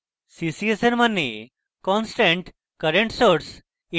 ccs এর means constant current source